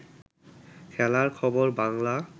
খেলার খবর বাংলা